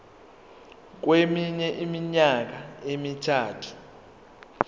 kweminye iminyaka emithathu